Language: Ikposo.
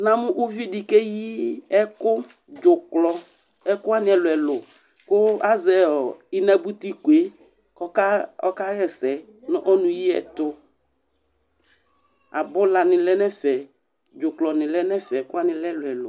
Namʋ uvi di keyi ɛkʋ, dzʋklɔ, ɛkʋwani ɛlʋ ɛlʋ kʋ azɛ ɔɔ inanuti ko yɛ ka ɔka hɛsɛ nʋ ɔnʋ yi yɛ tʋ Abʋlani lɛ n'ɛfɛ, dzʋklɔ ni lɛn'ɛfɛ, ɛkʋwani lɛ ɛlʋ ɛlʋ